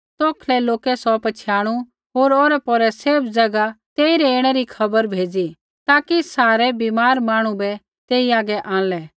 तौखलै लोकै सौ पछ़ियाणु होर औरैपौरै सैभ ज़ैगा तेइरै ऐणै री खबर भेज़ी ताकि सारै बीमार मांहणु बै तेई हागै आंणलै